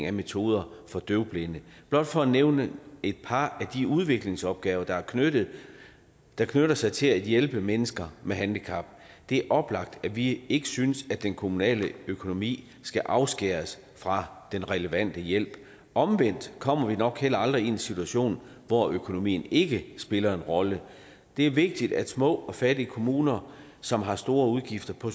af metoder for døvblinde blot for at nævne et par af de udviklingsopgaver der knytter der knytter sig til at hjælpe mennesker med handicap det er oplagt at vi ikke synes at den kommunale økonomi skal afskæres fra den relevante hjælp omvendt kommer vi nok heller aldrig i en situation hvor økonomien ikke spiller en rolle det er vigtigt at små og fattige kommuner som har store udgifter på